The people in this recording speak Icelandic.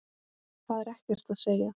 Það er ekkert að segja.